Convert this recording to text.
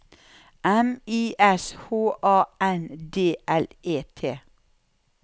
M I S H A N D L E T